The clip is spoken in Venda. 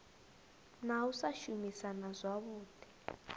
na u sa shumisana zwavhui